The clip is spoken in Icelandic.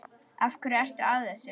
Af hverju ertu að þessu?